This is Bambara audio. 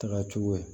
Taga cogo ye